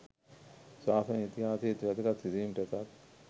ශාසන ඉතිහාසයේත් වැදගත් සිදුවීම් රැසක්